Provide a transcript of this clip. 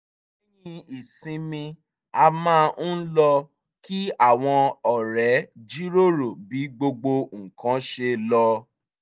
lẹ́yìn ìsinmi a máa ń lọ kí àwọn ọ̀rẹ́ jíròrò bí gbogbo nǹkan ṣe lọ